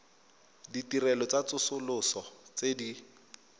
ditirelo tsa tsosoloso tse di